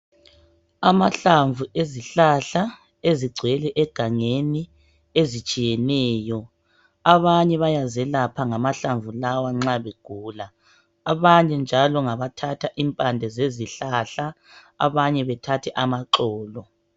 Amahlamvu ezihlahla ezigcwele egangeni ezitshiyeneyo ,abanye bayazelapha ngama hlamvu lawa nxa begula abanye njalo ngabathatha impande zezihlahla abanye bathathe amaxolo